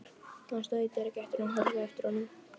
Annars værirðu ekki hér, sagði rödd í reykjarkófinu.